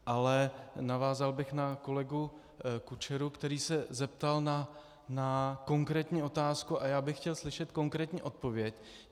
Ale navázal bych na kolegu Kučeru, který se zeptal na konkrétní otázku, a já bych chtěl slyšet konkrétní odpověď.